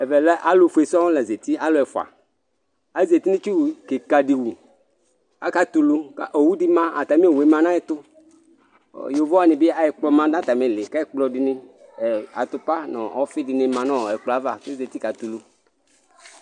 Ɛvɛ lɛ alu ɔfue sɔŋ la za uti alu ɛfua aza uti nu itsu kika di wu akatulu owu di ma atami owu ma nu ayɛtu Yovo wani bi ɛkplɔ ma nu atamiili Ku ɛkplɔdini atupa nu ɔfidini ma nu ɛkplɔ yɛ ava ku ezati katɛ ulu